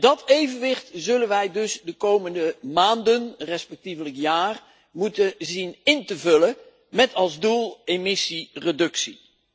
Dat evenwicht zullen wij de komende maanden respectievelijk het komende jaar moeten zien in te vullen met als doel emissiereductie.